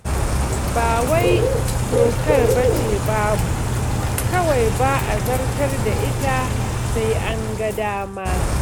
Ba wai dokar ba ce babu, kawai ba a zartar da ita, sai an ga dama.